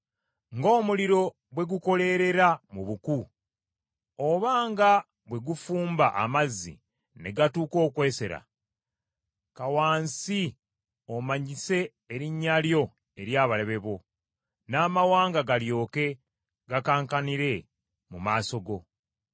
Ng’omuliro bwe gukoleerera mu buku, oba nga bwe gufumba amazzi ne gatuuka okwesera, ka wansi omanyise erinnya lyo eri abalabe bo, n’amawanga galyoke gakankanire mu maaso go!